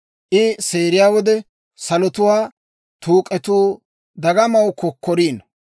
I seeriyaa wode, salotuwaa tuuk'etuu dagamaw kokkoriino.